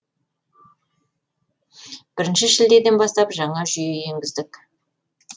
бірніші шілдеден бастап жаңа жүйе енгіздік